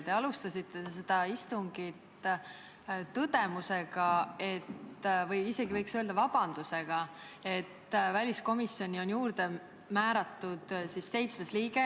Te alustasite seda istungit tõdemusega, isegi võiks öelda, et vabandusega, et väliskomisjoni on juurde määratud seitsmes liige.